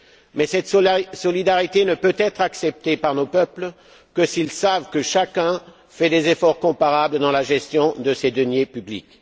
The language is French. Mais cette solidarité ne peut être acceptée par nos peuples que s'ils savent que chacun fait des efforts comparables dans la gestion de ses deniers publics.